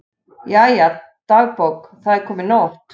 Jæja, dagbók, það er komin nótt.